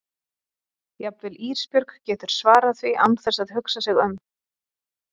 Jafnvel Ísbjörg getur svarað því án þess að hugsa sig um.